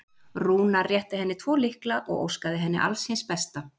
Rúnar rétti henni tvo lykla og óskaði henni alls hins besta.